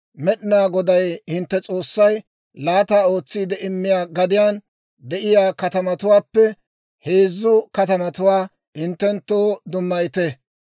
Med'inaa Goday hintte S'oossay laata ootsiide immiyaa gadiyaan de'iyaa katamatuwaappe heezzu katamatuwaa hinttenttoo dummayite.